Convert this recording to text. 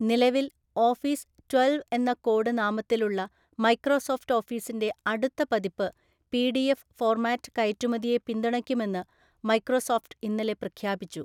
നിലവിൽ office twelve എന്ന code നാമത്തിലുള്ള മൈക്രോസോഫ്റ്റ് ഓഫീസിന്റെ അടുത്ത പതിപ്പ് പിഡിഎഫ് ഫോർമാറ്റ് കയറ്റുമതിയെ പിന്തുണയ്ക്കുമെന്ന് മൈക്രോസോഫ്ട് ഇന്നലെ പ്രഖ്യാപിച്ചു.